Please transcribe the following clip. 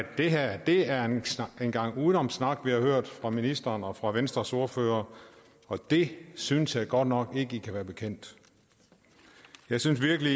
at det er en gang udenomssnak vi her har hørt fra ministeren og fra venstres ordfører og det synes jeg godt nok ikke i kan være bekendt jeg synes virkelig